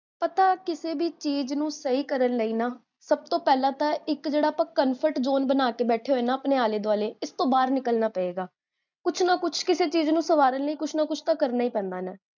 ਪਤਾ, ਕਿਸੇ ਵੀ ਚੀਜ਼ ਨੂੰ ਸਹੀ ਕਰਨ ਲਈ ਨਾ, ਸਬ ਤੋਂ ਪਹਲਾ ਤਾਂ ਇਕ ਜੇਹੜਾ ਆਪਾਂ comfort zone ਬਣਾ ਕੇ ਬੈਠੇ ਹੋਏ ਹੈਂ ਨਾ, ਆਪਣੇ ਆਲੇ ਦਵਾਲੇ, ਇਸ ਤੋ ਬਾਹਰ ਨਿਕਲਣਾ ਪਏਗਾ, ਕੁਛ ਨਾ ਕੁਛ ਕਿਸੇ ਚੀਜ਼ ਨੂੰ ਸਵਾਲ ਨੀ, ਕੁਛ ਨਾ ਕੁਛ ਤਾਂ ਕਰਨਾ ਹੀ ਪੈਂਦਾ ਹੈ